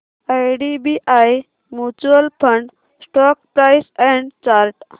IDBI mutual fund stock price and chart